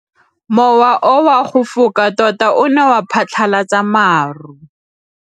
Mowa o wa go foka tota o ne wa phatlalatsa maru.